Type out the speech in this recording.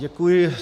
Děkuji.